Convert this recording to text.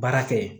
Baara kɛ